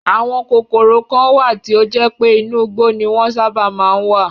Àwọn kòkòrò kan wà tí ó jẹ́ pé inú igbó ni wọ́n sábà má ń wà